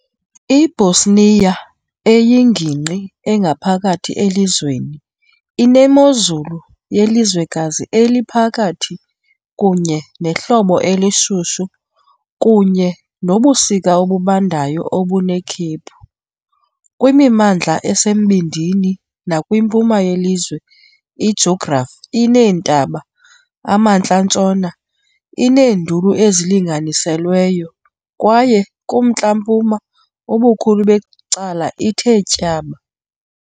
I-Bosnia, eyingingqi engaphakathi elizweni, inemozulu yelizwekazi eliphakathi kunye nehlobo elishushu kunye nobusika obubandayo, obunekhephu. Kwimimandla esembindini nakwimpuma yelizwe, ijografi ineentaba, emantla-ntshona ineenduli ezilinganiselweyo, kwaye kumntla-mpuma ubukhulu becala ithe tyaba.